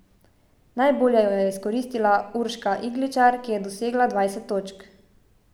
Najbolje jo je izkoristila Urška Igličar, ki je dosegla dvajset točk.